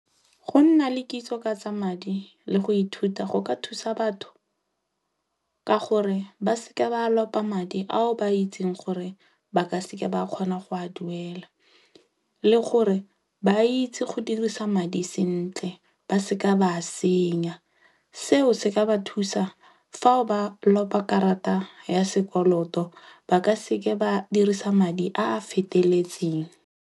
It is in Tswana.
Go nna le kitso ka tsa madi le go ithuta go ka thusa batho, ka gore ba seka ba lopa madi ao ba itseng gore ba ka seke ba kgona go a duela. Le gore ba itse go dirisa madi sentle. Ba seka ba a senya. Seo se ka ba thusa fa ba lopa karata ya sekoloto ba ka seke ba dirisa madi a a feteletseng.